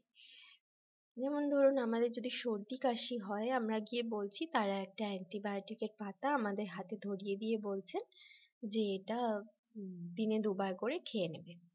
যেমন ধরুন আমাদের যদি সর্দি-কাশি হয় আমরা গিয়ে বলছি তারা একটা antibiotic পাতা আমাদের হাতে ধরিয়ে দিয়ে বলছেন যে এটা দিনে দুবার করে খেয়ে নেবেন।